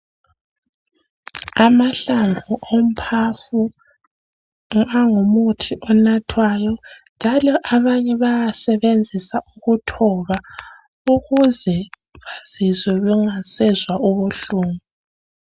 Amahlamvu omphafa angumuthi onathwayo njalo abanye bayaasebenzisa ukuthoba ukuze bazizwe bengasezwa ubuhlungu.